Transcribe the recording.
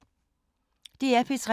DR P3